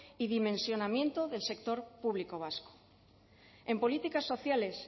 y dimensionamiento del sector público vasco en políticas sociales